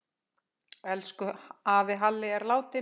Elsku afi Halli er látinn.